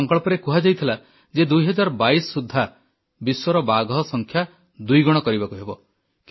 ଏହି ସଂକଳ୍ପରେ କୁହାଯାଇଥିଲା ଯେ 2022 ସୁଦ୍ଧା ବିଶ୍ୱର ବାଘସଂଖ୍ୟା ଦୁଇଗଣ କରିବାକୁ ହେବ